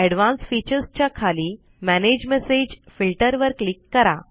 advance features च्या खाली manage message filter वर क्लिक करा